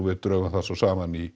við drögum það saman í